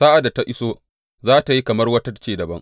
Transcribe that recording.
Sa’ad da ta iso za tă yi kamar wata ce dabam.